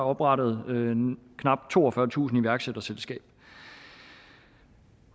oprettet knap toogfyrretusind iværksætterselskaber